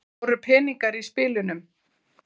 Voru peningar í spilunum?